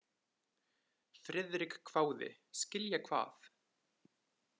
Friðrik hváði: Skilja hvað?